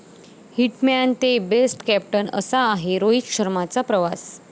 hit man ते best captain, असा आहे रोहित शर्माचा प्रवास